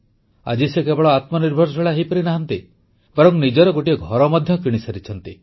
ଆଜି ସେ କେବଳ ଆତ୍ମନିର୍ଭରଶୀଳ ହୋଇପାରିନାହାନ୍ତି ବରଂ ନିଜର ଗୋଟିଏ ଘର ମଧ୍ୟ କିଣିପାରିଛନ୍ତି